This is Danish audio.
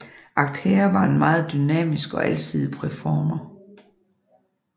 Akher var en meget dynamisk og alsidig performer